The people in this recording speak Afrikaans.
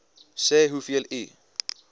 sê hoeveel u